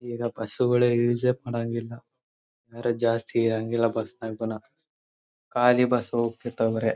ಈಗ ಬಸ್ಸು ಗಳೇ ಯೂಸೆ ಮಾಡಾಂಗಿಲ್ಲ ಬೇರೆಜಾಸ್ಥಿ ಹಂಗೆಲ್ಲಾ ಬಸ್ನಾಗ ಖಾಲಿ ಬಸ್ ಹೋಗತೀರ್ಥವೇ ಬರೆ.